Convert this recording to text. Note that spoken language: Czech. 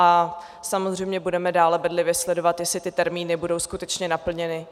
A samozřejmě budeme dále bedlivě sledovat, jestli ty termíny budou skutečně naplněny.